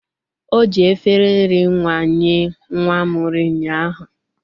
O ji efere nri nwa nye nwa m nri ụnyaahu.